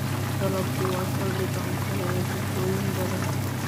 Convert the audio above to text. Dalaggu waa saldhigga cuntada ee bulshooyin badan.